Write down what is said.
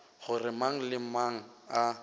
gore mang le mang a